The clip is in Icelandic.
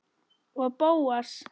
Og Bóas.